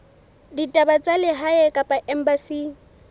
ditaba tsa lehae kapa embasing